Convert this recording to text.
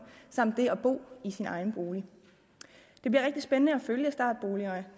samt det at bo i egen bolig det bliver rigtig spændende at følge startboligerne